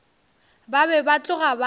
ba be ba tloga ba